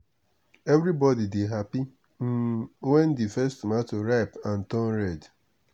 everybody dey happy um when the first tomato ripe and turn red.